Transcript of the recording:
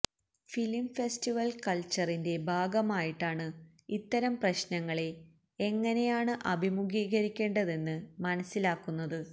film festival കള്ച്ചറിന്റെ ഭാഗമായിട്ടാണ് ഇത്തരം പ്രശ്നങ്ങളെ എങ്ങനെയാണ് അഭിമുഖീകരിക്കേണ്ടതെന്ന് മനസ്സിലാക്കുന്നത്